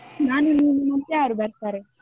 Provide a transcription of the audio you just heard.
ನಾನು ನೀನು, ಮತ್ಯಾರು ಬರ್ತಾರೆ?